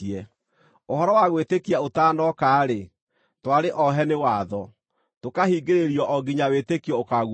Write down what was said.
Ũhoro wa gwĩtĩkia ũtanooka-rĩ, twarĩ ohe nĩ watho, tũkahingĩrĩrio o nginya wĩtĩkio ũkaaguũranĩrio.